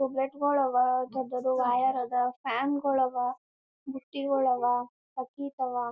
Tube light ಗುಳ ಅವ್ ದೊಡ್ಡದು ವೈರ್ ಅವ್ ಫ್ಯಾನ್ ಗುಳ ಅವ್ ಬುಟ್ಟಿಗಳ್ ಅವ್ ಬಕ್ಕಿಟ ಅವ್ .